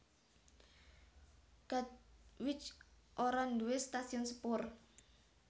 Katwijk ora nduwé stasiun sepur